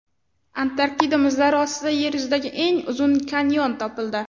Antarktida muzlari ostida Yer yuzidagi eng uzun kanyon topildi.